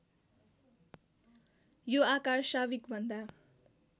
यो आकार साविकभन्दा